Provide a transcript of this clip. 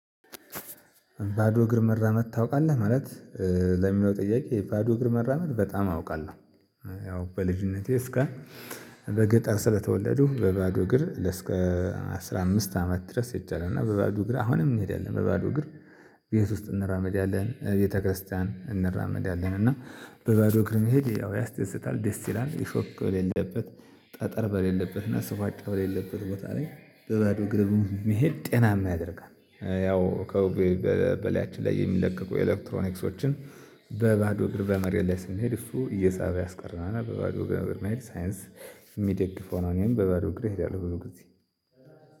ባዶ እግር መራመድ ታውቃለህ ማለት ለሚለው ጥያቄ? ባዶ እግር መራመድ በጣም አውቃለሁ ያው በልጅነቴ እስከ በገጠር ስለተወለድሁ በባዶ እግር ለእስከ አስራ አምስት አመት ድረስ ሄጃለው። እና በባዶ እግር አሁንም እንሄዳለን በባዶ እግር ቤት ውስጥ እንራመዳለን ቤተክርስቲያን እንራመዳለን። እና በባዶ አእግር መሄድ ያው ያስደስታል ደስ ይላል እሾክ በሌለበት ጠጠር በሌለበት ስባጭ በሌለበት ቦታ ላይ በባዶ እግር መሄድ ጤና የሚያደርጋል። ያው ከበላያችን ላይ የሚለቀቁ ኤሌክትሮኒክሶችን በባዶ ግርባ መሬት ላይ ስንሄድ እሱ እየሳበ ያስቀረናል። በባዶ እግር መሔድ ሳይንስ የሚደግፈው ነው። እኔም በባዶ እግር እሄዳለሁ በብዙ ጊዜ